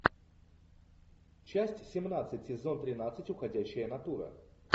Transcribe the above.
часть семнадцать сезон тринадцать уходящая натура